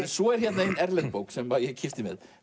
svo er hér ein erlend bók sem ég kippti með